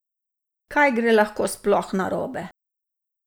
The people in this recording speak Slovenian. Kaj gre lahko sploh narobe?